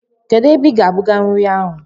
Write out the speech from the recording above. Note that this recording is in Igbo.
Ebee ka ị ga-ebuga nri ahụ?